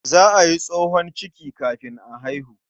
Za a yi tsohon ciki kafin a haihu.